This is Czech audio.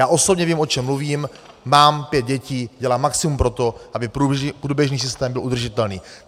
Já osobně vím, o čem mluvím, mám pět dětí, dělám maximum pro to, aby průběžný systém byl udržitelný.